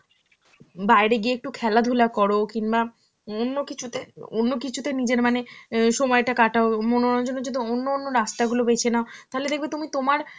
বাইরে গিয়ে একটু খেলাধুলা করো কিংবা অন্য কিছুতে~ অন্য কিছুতে নিজের মানে অ্যাঁ সময়টা কাটাও, মনোরঞ্জনের যদি অন্য অন্য রাস্তা গুলো বেছে নাও, তাহলে তুমি দেখবে তোমার